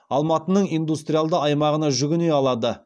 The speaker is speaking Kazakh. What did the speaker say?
алматының индустриалды аймағына жүгіне алады